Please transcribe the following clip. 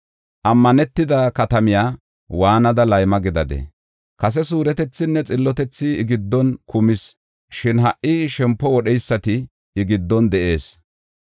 Ammanetida katamiya waanada layma gidadee? Kase suuretethinne xillotethi I giddon kumis, shin ha77i shempo wodheysati I giddon de7ees.